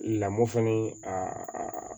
Lamɔ fɛnɛ a